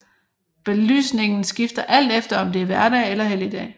Belysningen skifter alt efter om det er hverdag eller helligdag